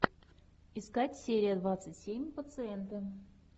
искать серия двадцать семь пациенты